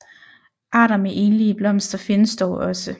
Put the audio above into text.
Arter med enlige blomster findes dog også